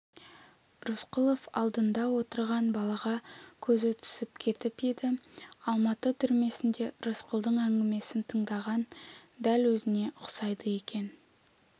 рысқұлов алдында отырған балаға көзі түсіп кетіп еді алматы түрмесінде рысқұлдың әңгімесін тыңдаған дәл өзіне ұқсайды екен